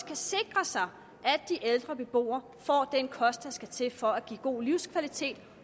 kan sikre sig at de ældre beboere får den kost der skal til for at give god livskvalitet